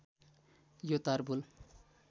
यो तार पुल